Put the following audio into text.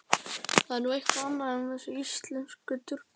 Það er nú eitthvað annað en þessir íslensku durgar.